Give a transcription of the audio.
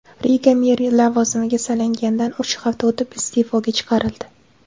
Riga meri lavozimga saylanganidan uch hafta o‘tib iste’foga chiqarildi.